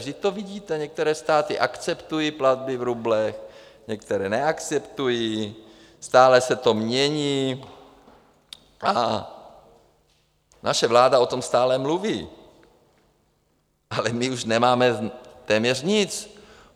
Vždyť to vidíte - některé státy akceptují platby v rublech, některé neakceptují, stále se to mění, a naše vláda o tom stále mluví - a my už nemáme téměř nic.